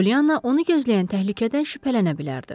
Polyana onu gözləyən təhlükədən şübhələnə bilərdi.